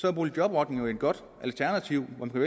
er boligjobordningen jo et godt alternativ man kunne